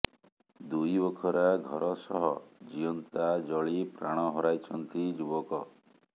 ଦୁଇବଖରା ଘର ସହ ଜିଅନ୍ତା ଜଳି ପ୍ରାଣ ହରାଇଛନ୍ତି ଯୁବକ